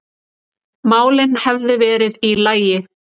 málin hefðu verið í lagi.